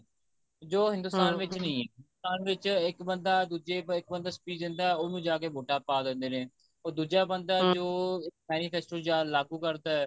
ਜੋ ਹਿੰਦੁਸਤਾਨ ਵਿੱਚ ਨੀ ਹਿੰਦੁਸਤਾਨ ਵਿੱਚ ਇੱਕ ਬੰਦਾ ਦੁੱਜਾ ਇੱਕ ਬੰਦਾ speech ਦਿੰਦਾ ਉਹਨੂੰ ਜਾਕੇ ਵੋਟਾਂ ਪਾ ਦਿੰਦੇ ਨੇ ਉਹ ਦੁੱਜਾ ਬੰਦਾ ਜੋ manifesto ਲਾਗੂ ਕਰਦਾ ਹੈ